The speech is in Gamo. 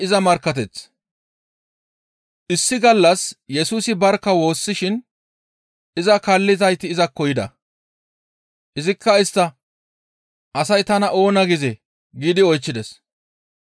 Issi gallas Yesusi barkka woossishin iza kaallizayti izakko yida. Izikka istta, «Asay tana oona gizee?» giidi oychchides.